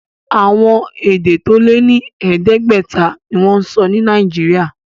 Àwọn èdè tó lé ní ẹ̀ẹ́dẹ́gbẹ̀ta ni wọ́n ń sọ ní Nàìjíríà.